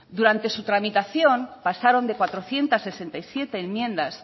durante su tramitación pasaron de cuatrocientos sesenta y siete enmiendas